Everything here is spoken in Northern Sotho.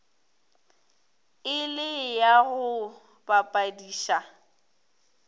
e le ya go bapadiša